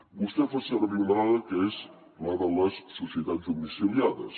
vostè fa servir una dada que és la de les societats domiciliades